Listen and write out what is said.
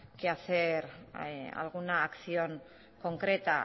que hacer alguna acción concreta